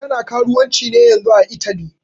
Tana karuwanci ne yanzun ã Italy.